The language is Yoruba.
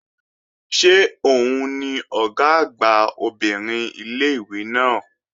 Ṣé òun ni Ọ̀gá àgbà obìnrin ilé-ìwé náà?